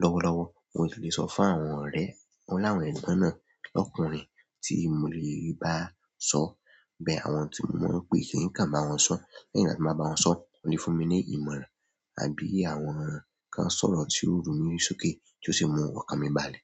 lọ́wọ́lọ́wọ́. Mo tì lè sọ fún àwọn ọ̀rẹ́, wọ́n láwọn ẹ̀gbọ́n náà lọ́kùnrin tí mo lè bá sọ̀, bẹ́ẹ̀ àwọn tí mo mọ̀ pé kì í kan bá wọn sọ̀. Lẹ́yìn láti máa bá wọn sọ, wọ́n lè fún mi ní ìmọ̀ràn àbí àwọn kàn sọ̀rọ̀ tí ó ru mí sókè tí ó sì mú ọkàn mi balẹ̀.